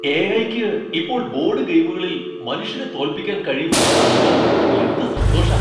എ.ഐ.യ്ക്ക് ഇപ്പോൾ ബോഡ് ഗെയിമുകളിൽ മനുഷ്യരെ തോൽപ്പിക്കാൻ കഴിയും എന്ന് കാണുമ്പോ എന്ത് സന്തോഷാ.